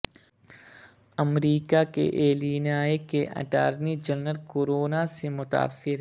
امریکہ کے ایلینائے کے attorney general corona سے متاثر